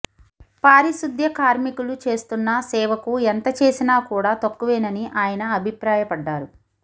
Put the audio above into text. పారిశుద్య కార్మికులు చేస్తున్న సేవకు ఎంత చేసినా కూడ తక్కువేనని ఆయన అభిప్రాయపడ్డారు